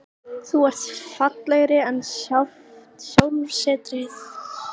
Þú ert fallegri en sjálft sólsetrið.